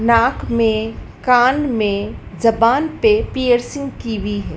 नाक में कान में जबान पे पियर्सिंग की हुई है।